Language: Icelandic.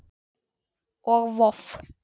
og Voff